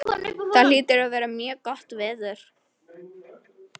Það hlýtur að vera mjög gott veður.